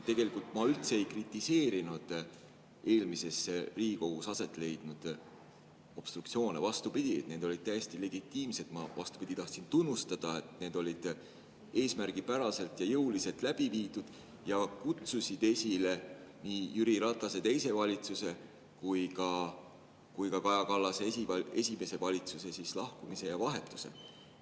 Tegelikult ma üldse ei kritiseerinud eelmise Riigikogu koosseisu ajal aset leidnud obstruktsioone, vastupidi, need olid täiesti legitiimsed, ma tahtsin tunnustada, et need olid eesmärgipäraselt ja jõuliselt läbi viidud ja kutsusid esile nii Jüri Ratase teise valitsuse kui ka Kaja Kallase esimese valitsuse lahkumise ja vahetuse.